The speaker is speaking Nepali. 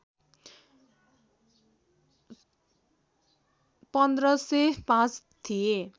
१५०५ थिए